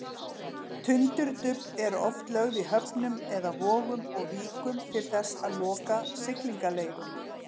Tundurdufl eru oft lögð í höfnum eða vogum og víkum til þess að loka siglingaleiðum.